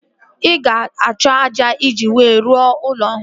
Ị ga-achọ ájá iji wee rụọ ụlọ ọhụrụ